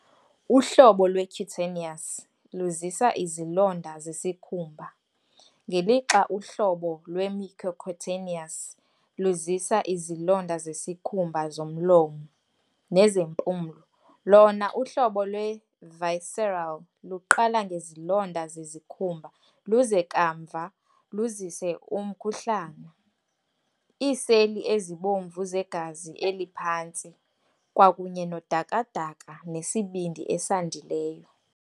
Uhlobo lwe-cutaneous luzisa izilonda zesikhumba, ngelixa uhlobo lwe-mucocutaneous luzisa izilonda zesikhumba, zomlomo, nezempumlo, lona uhlobo lwe-visceral luqala ngezilonda zezikhumba luze kamva luzise umkhuhlane, iiseli ezibomvu zegazi eliphantsi, kwakunye nodakada nesibindi esandileyo.